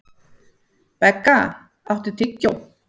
Begga, áttu tyggjó?